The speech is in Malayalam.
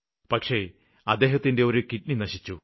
പക്ഷേ അദ്ദേഹത്തിന്റെ ഒരു കിഡ്നി നശിച്ചു